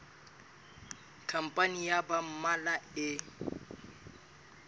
khampani ya ba mmalwa e